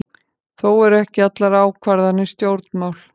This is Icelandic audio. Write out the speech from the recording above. Þó eru ekki allar ákvarðanir stjórnmál.